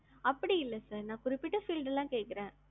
அப்டி இல்ல sir நான் குறிப்பிட்ட field ல கேக்குறேன்.